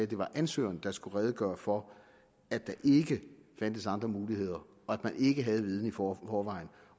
det var ansøgeren der skulle redegøre for at der ikke fandtes andre muligheder at man ikke havde viden i forvejen